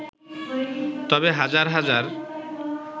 তবে হাজার হাজার